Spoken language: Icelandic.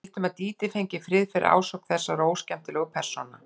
Við vildum að Dídí fengi frið fyrir ásókn þessara óskemmtilegu persóna.